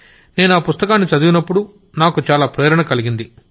నేనా పుస్తకాన్ని చదివినప్పుడు నాకు చాలా ప్రేరణ కలిగింది